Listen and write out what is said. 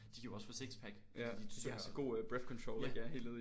De kan jo også få sixpack fordi de synger ja!